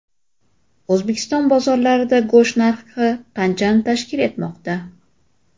O‘zbekiston bozorlarida go‘sht narxi qanchani tashkil etmoqda?.